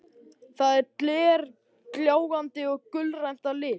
Það er glergljáandi og gulgrænt að lit.